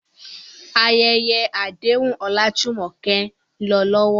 Ayẹyẹ àdéhùn Olajumoke ń lọ lọ́wọ́.